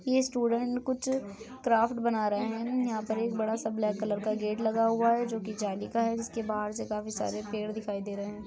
ये स्टूडेंट्स कुछ क्राफ्ट बना रहे हैं यहाँ पर एक बड़ा सा ब्लैक कलर का गेट लगा हुआ है जो कि जाली का है जिसके बाहर से काफी सारे पेड़ दिखाई दे रहे हैं।